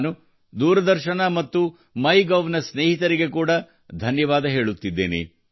ನಾನು ದೂರದರ್ಶನ ಮತ್ತು ಮೈಗೋವ್ ನ ಸ್ನೇಹಿತರಿಗೆ ಕೂಡಾ ಧನ್ಯವಾದ ಹೇಳುತ್ತಿದ್ದೇನೆ